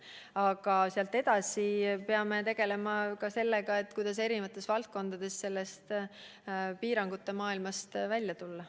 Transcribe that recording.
Aga edasi me peame tegelema ka sellega, kuidas eri valdkondades piirangute maailmast välja tulla.